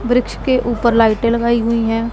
वृक्ष के ऊपर लाइटे लगाई हुई हैं।